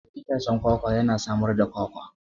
Itacen kwakwa yana samar da Kwakwa.